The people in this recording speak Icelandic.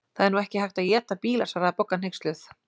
Það er nú ekki hægt að éta bíla svaraði Bogga hneyksluð.